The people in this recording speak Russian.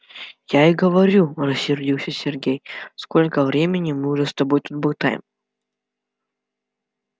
я и говорю рассердился сергей сколько времени мы уже с тобой тут болтаем